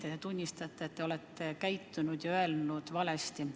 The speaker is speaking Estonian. Kas te tunnistate, et te olete käitunud ja öelnud valesti?